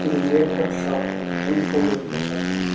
ಇದು haircut shop hi fi haircut shop ಅನ್ಸತ್ತೆ--